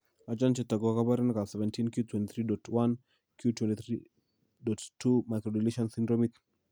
Achon chetogu ak kaborunoik ab 17q23.1q23.2 microdeletion syndromit